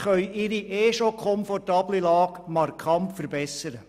Sie können ihre ohnehin schon komfortable Lage markant verbessern.